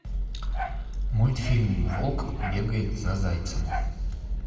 мультфильм волк бегает за зайцем